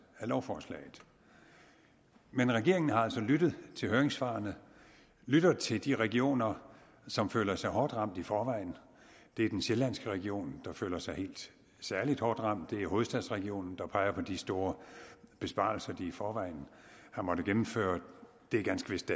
af lovforslaget men regeringen har altså lyttet til høringssvarene lyttet til de regioner som føler sig hårdt ramt i forvejen det er den sjællandske region der føler sig særligt hårdt ramt og det er hovedstadsregionen der peger på de store besparelser de i forvejen har måttet gennemføre det er ganske vist